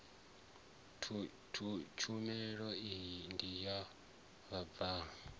tshumelo iyi ndi ya vhabvann